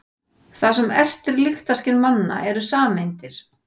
Það sem ertir lyktarskyn manna eru sameindir.